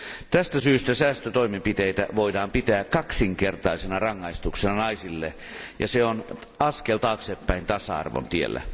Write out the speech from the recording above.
Tästä syystä säästötoimenpiteitä voidaankin pitää kaksinkertaisena rangaistuksena naisille, ja se on askel taaksepäin tasa arvon tiellä.